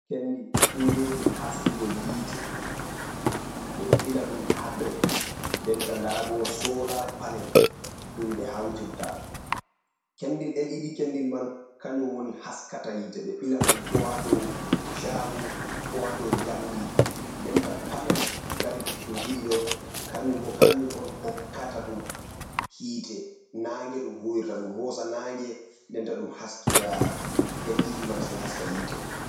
Kendir kujeji haskugo hitte, ɓeɗo ɓilla ɗum ha dou denta ndabo solar panel ɗum ɓe hawtirta, kendil ɗen ɗiɗi kendil man kanjum woni haskata hitte ɓe ɓila ɗum ko ha dou shago ko ha dou jamdi denta panel dari ɗum ɗiɗi ɗo kanjum bo kanjum on hokkata ɗum hitte nagge ɗum huwirta ɗum hosa nagge denta ɗum haskira ɗen ɗiɗi man sai haska hitte. .